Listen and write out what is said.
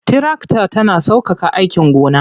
Tirakta tana sauƙaƙa aikin gona.